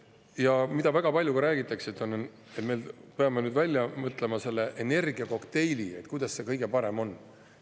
Ja väga palju räägitakse, et me peame välja mõtlema selle energiakokteili, kuidas kõige parem on.